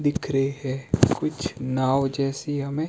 दिख रहे हैं कुछ नाव जैसी हमें--